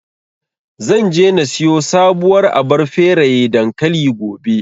Zan je na siyo sabuwar abar feraye dankali, gobe.